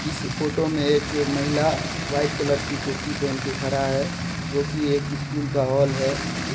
इस फोटो में एक महिला व्हाइट कलर की कुर्ती पहेन के खड़ा है जो की एक स्कूल का हॉल है।